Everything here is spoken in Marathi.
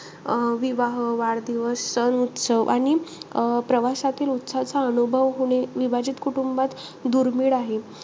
अं विवाह, वाढदिवस, सण, उत्सव आणि अं प्रवासातील उत्साहाचा अनुभव होणे विभाजित कुटुंबात दुर्मिळ आहे.